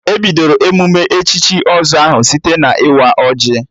E bidoro emụme echichi ọzọ ahụ site na-ịwa ọjị